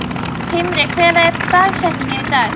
Himri, hver er dagsetningin í dag?